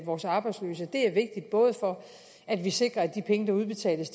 vores arbejdsløse det er vigtigt både for at vi sikrer at de penge der udbetales